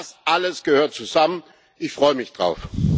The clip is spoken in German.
Das alles gehört zusammen ich freue mich darauf.